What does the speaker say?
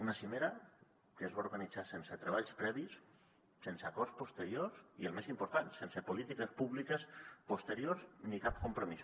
una cimera que es va organitzar sense treballs previs sense acords posteriors i el més important sense polítiques públiques posteriors ni cap compromís